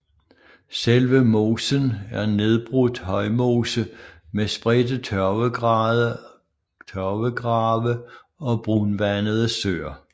Selve mosen er nedbrudt højmose med spredte tørvegrave og brunvandede søer